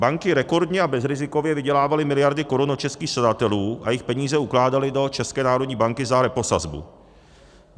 Banky rekordně a bezrizikově vydělávaly miliardy korun od českých střadatelů a jejich peníze ukládaly do České národní banky za reposazbu.